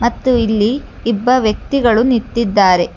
ಮತ್ತು ಇಲ್ಲಿ ಇಬ್ಬ ವ್ಯಕ್ತಿಗಳು ನಿತ್ತಿದ್ದಾರೆ.